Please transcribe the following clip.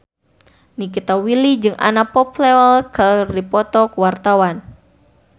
Nikita Willy jeung Anna Popplewell keur dipoto ku wartawan